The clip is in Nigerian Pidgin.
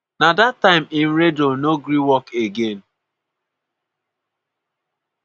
na dat time im radio no gree work again.